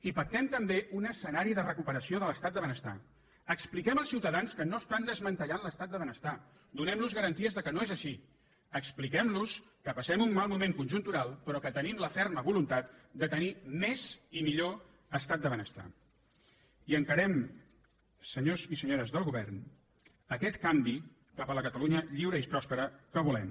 i pactem també un escenari de recuperació de l’estat del benestar expliquem als ciutadans que no estan desmantellant l’estat del benestar donemlos garanties que no és així expliquemlos que passem un mal moment conjuntural però que tenim la ferma voluntat de tenir més i millor estat del benestar i encarem senyors i senyores del govern aquest canvi cap a la catalunya lliure i pròspera que volem